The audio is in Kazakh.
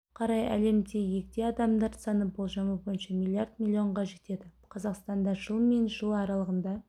қарай әлемде егде адамдар саны болжамы бойынша миллиард миллионға жетеді қазақстанда жыл мен жыл аралығында